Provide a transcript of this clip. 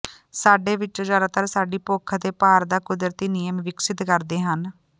ਸਾਡੇ ਵਿੱਚੋਂ ਜ਼ਿਆਦਾਤਰ ਸਾਡੀ ਭੁੱਖ ਅਤੇ ਭਾਰ ਦਾ ਕੁਦਰਤੀ ਨਿਯਮ ਵਿਕਸਤ ਕਰਦੇ ਹਨ